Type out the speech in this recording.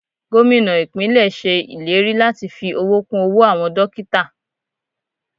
Gómìnà ìpínlè ṣe ìlérí láti fi owó kún owó àwọn dókítà.